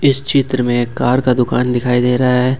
इस चित्र में एक कार का दुकान दिखाई दे रहा है ।